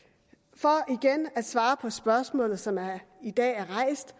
for igen at svare på spørgsmålet som i dag er rejst